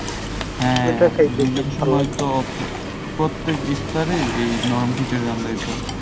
হ্যাঁ ঐটা রোজার সময়তো প্রত্যেক ইফতারে এই নরম খিচুরি রান্দা হইতো।